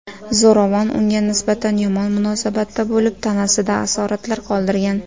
Zo‘ravon unga nisbatan yomon munosabatda bo‘lib, tanasida asoratlar qoldirgan.